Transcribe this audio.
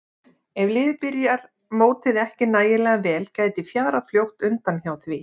Ef liðið byrjar mótið ekki nægilega vel gæti fjarað fljótt undan hjá því.